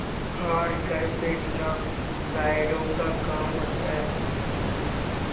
हार कर बैठना कायरों का काम है